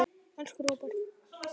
Elsku Róbert.